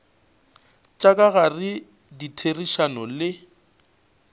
tša ka gare ditherišano le